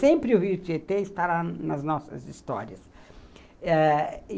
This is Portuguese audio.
Sempre o rio Tietê estará nas nossas histórias ãh e